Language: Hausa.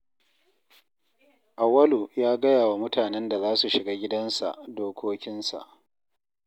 Auwalu ya gaya wa mutanen da za su shiga gidansa dokokinsa